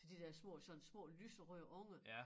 Så de der små sådan små lyseøde unger